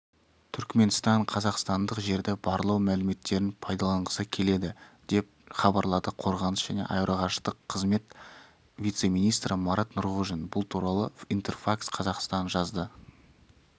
түрікменстан қазақстандық жерді барлау мәліметтерін пайдаланғысы келеді деп хабарлады қорғаныс және аэроғарыштық қызмет вице-министрі марат нұрғожин бұл туралы интерфакс-қазақстан жазды